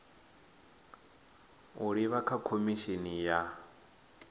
u livha kha khomishini ya